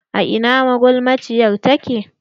A ina magulmaciyar take?